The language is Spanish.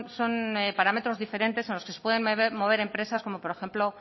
son parámetros diferentes a los que se pueden mover empresas como por ejemplo